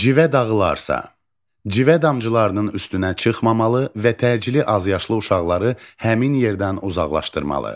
Civə dağılarsa, civə damcılarının üstünə çıxmamalı və təcili azyaşlı uşaqları həmin yerdən uzaqlaşdırmalı.